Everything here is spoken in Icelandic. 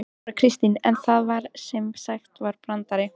Þóra Kristín: En það var sem sagt ekki brandari?